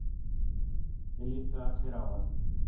Þeir litu allir á hann.